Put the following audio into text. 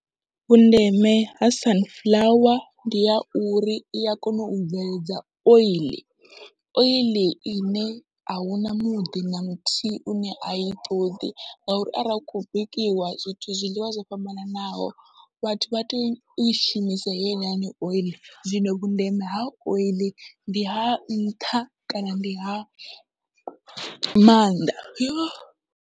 Vhundeme ha sunflower ndi ya uri ia kona u bveledza oiḽi, oiḽi ine ahuna muḓi na muthihi une ai toḓi ngauri arali hu kho bikiwa zwithu zwiḽiwa zwo fhambananaho vhathu vha toi shumisa heinoni oiḽi zwino vhundeme ha oiḽi ndi ha nṱha kana ndi ha maanḓa .